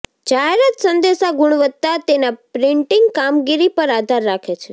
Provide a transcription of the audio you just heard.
જાહેરાત સંદેશા ગુણવત્તા તેના પ્રિન્ટીંગ કામગીરી પર આધાર રાખે છે